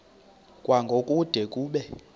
kwango kude kube